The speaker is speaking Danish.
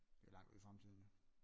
Det er langt ude i fremtiden jo